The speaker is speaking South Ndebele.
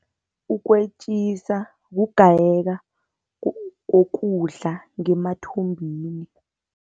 Ukwetjisa kugayeke kokudla ngemathumbini.